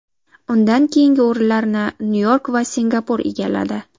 Undan keyingi o‘rinlarni Nyu-York va Singapur egalladi.